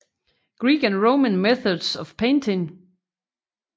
Greek and Roman Methods of Painting